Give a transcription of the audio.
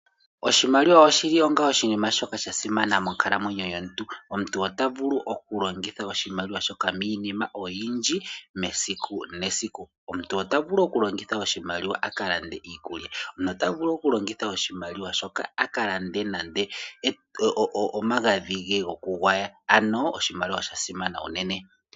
Oshimaliwa oshili onga oshinima shoka sha simana monkalamwenyo yomuntu. Omuntu ota vulu oku longitha oshimaliwa shoka miinima oyindji mesiku nesiku. Omuntu ota vulu oku longitha oshimaliwa aka lande iikulya. Nota vulu oku longitha oshimaliwa shoka aka lande omagadhi ge goku gwaya. Ano oshimaliwa osha simana unene.